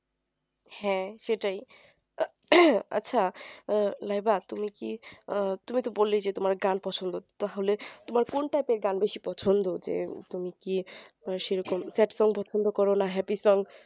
হ্যাঁ সেটাই আচ্ছা লাইবা তুমি কি আহ তুমি তো বললেই যে তোমার খুব গান পছন্দ তাহলে তোমার কোন type এর গান বেশি পছন্দ যে তুমি কি সেরকম sad song পছন্দ করো না happy song